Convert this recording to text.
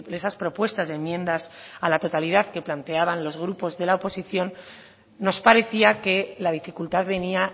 esas propuestas de enmiendas a la totalidad que planteaban los grupos de la oposición nos parecía que la dificultad venía